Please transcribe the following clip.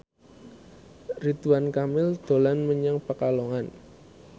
Ridwan Kamil dolan menyang Pekalongan